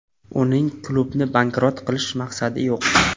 Uning klubni bankrot qilish maqsadi yo‘q.